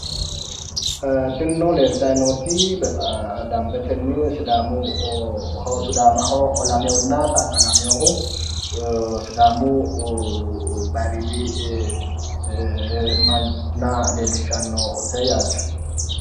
tinino leeltayi nooti danbetenni sidaamaho olameyoohunna taaggalameyoohu sidaamu bayiiriidi manna leellishshannote yaate